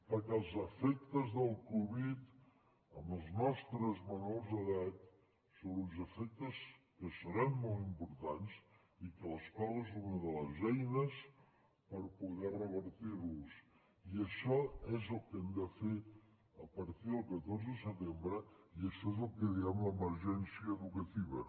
perquè els efectes de la covid en els nostres menors d’edat són uns efectes que seran molt importants i que l’escola és una de les eines per poder revertir los i això és el que hem de fer a partir del catorze de setembre i això és el que diem l’emergència educativa